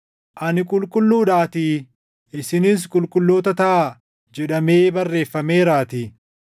“Ani qulqulluudhaatii isinis qulqulloota taʼaa” + 1:16 \+xt Lew 11:44,45; 19:2; 20:7\+xt* jedhamee barreeffameeraatii.